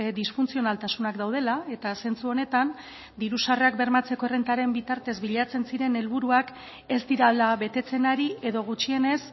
disfuntzionaltasunak daudela eta zentzu honetan diru sarrerak bermatzeko errentaren bitartez bilatzen ziren helburuak ez direla betetzen ari edo gutxienez